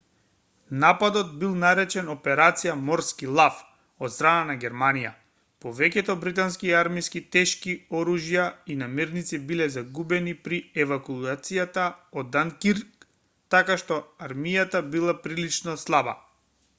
нападот бил наречен операција морски лав од страна на германија повеќето британски армиски тешки оружја и намирници биле загубени при евакуацијата од данкирк така што армијата била прилично слаба